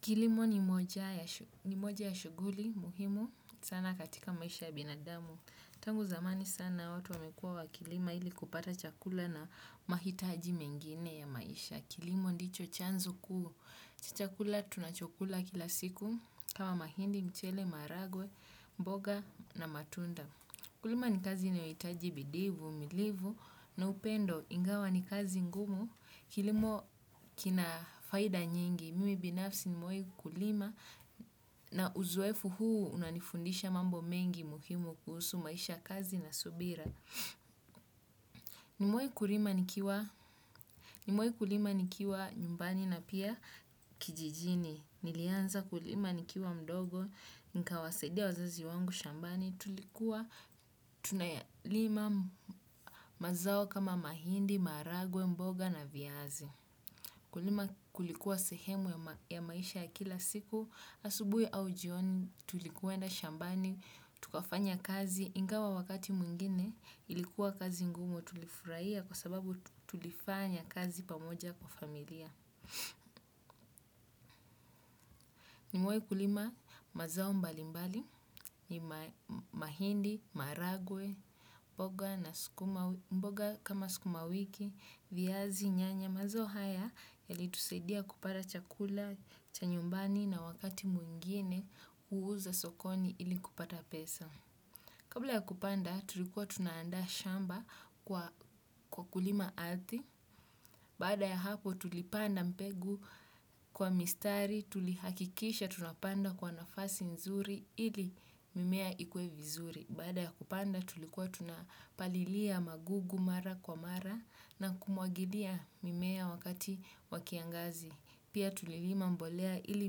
Kilimo ni moja ya shuguli muhimu sana katika maisha ya binadamu. Tangu zamani sana watu wamekua wa kilima ili kupata chakula na mahitaji mengine ya maisha. Kilimo ndicho chanzu kuhu. Chakula tuna chakula kila siku kama mahindi, mchele, maragwe, mboga na matunda. Kulima ni kazi inaohitaji bidi uvumilivu na upendo ingawa ni kazi ngumu. Kilimo kina faida nyingi. Mimi binafsi nimoe kulima na uzoefu huu unanifundisha mambo mengi muhimu kuhusu maisha kazi na subira. Nimoe kulima nikiwa nyumbani na pia kijijini. Nilianza kulima nikiwa mdogo, nika wasedia wazazi wangu shambani, tulikuwa, tunayalima mazao kama mahindi, marage, mboga na viazi. Kulima kulikuwa sehemu ya maisha ya kila siku, asubui au jioni, tulikuwenda shambani, tukafanya kazi, ingawa wakati mwingine, ilikuwa kazi ngumu tulifuraiya kwa sababu tulifanya kazi pamoja kwa familia. Ni mewai kulima mazao mbali mbali, ni mahindi, maragwe, mboga kama sukuma wiki, viyazi, nyanya, mazao haya yali tusedia kupada chakula, chanyumbani na wakati mwingine uuza sokoni ili kupata pesa. Kabla ya kupanda tulikuwa tunaanda shamba kwa kulima athi, baada ya hapo tulipanda mpegu kwa mistari, tulihakikisha tunapanda kwa nafasi nzuri ili mimea ikue vizuri. Baada ya kupanda tulikuwa tunapalilia magugu mara kwa mara na kumuagilia mimea wakati wakiangazi. Pia tulilima mbolea ili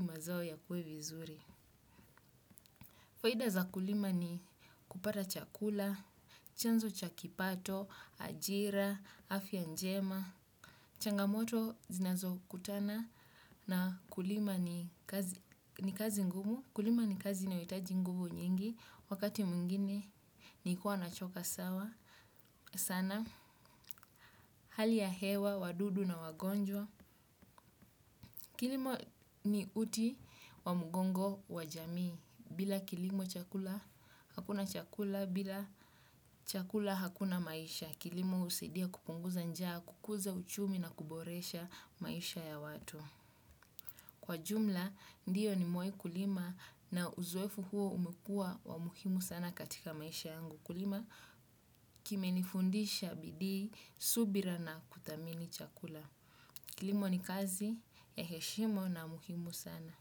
mazao ya kue vizuri. Faida za kulima ni kupata chakula, chanzo chakipato, ajira, afya njema, changamoto zinazo kutana na kulima ni kazi ngumu. Kulima ni kazi inayohitaji nguvu nyingi wakati mwingine nikiwa nachoka sawa sana. Hali ya hewa, wadudu na wagonjwa. Kilimo ni uti wa mugongo wa jamii. Bila kilimo hakuna chakula, bila chakula hakuna maisha. Kilimo usaidia kupunguza njaa, kukuza uchumi na kuboresha maisha ya watu. Kwa jumla, ndiyo nimewahi kulima na uzoefu huo umekuwa wa muhimu sana katika maisha yangu kulima kimenifundisha bidii, subira na kuthamini chakula. Kilimo ni kazi ya heshima na muhimu sana.